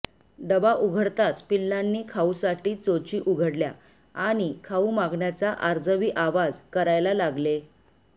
डबा उघडताच पिल्लांनी खाऊसाठी चोची उघडल्या आणि खाऊ मागण्याचा आर्जवी आवाज करायला लागले